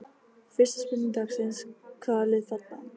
Fyrsta spurning dagsins: Hvaða lið falla?